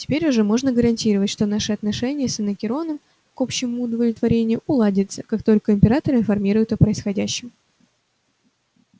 теперь уже можно гарантировать что наши отношения с анакреоном к общему удовлетворению уладятся как только императора информируют о происходящем